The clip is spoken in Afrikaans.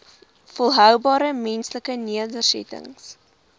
volhoubare menslike nedersettings